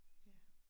Ja